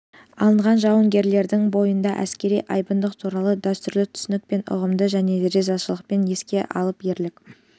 алынған жауынгерлердің бойында әскери айбындылық туралы дәстүрлі түсінік пен ұғымды және ризашылықпен еске алып ерлік